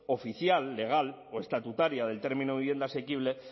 oficial legal o estatutaria del término vivienda asequible